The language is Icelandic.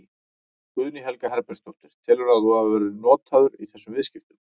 Guðný Helga Herbertsdóttir: Telurðu að þú hafi verið notaður í þessum viðskiptum?